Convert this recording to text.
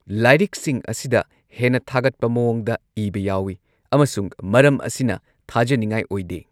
ꯂꯥꯏꯔꯤꯛꯁꯤꯡ ꯑꯁꯤꯗ ꯍꯦꯟꯅ ꯊꯥꯒꯠꯄ ꯃꯑꯣꯡꯗ ꯏꯕ ꯌꯥꯎꯏ, ꯑꯃꯁꯨꯡ ꯃꯔꯝ ꯑꯁꯤꯅ ꯊꯥꯖꯅꯤꯡꯉꯥꯏ ꯑꯣꯏꯗꯦ꯫